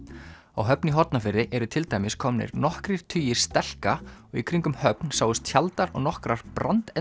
á Höfn í Hornafirði eru til dæmis komnir nokkrir tugir stelka og í kringum Höfn sáust tjaldar og nokkrar